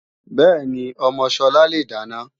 Bẹ́ẹ̀ni, ọmọ Sọlá le dáná